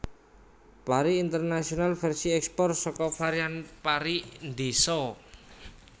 pari Internasional versi ekspor saka varian pari ndeso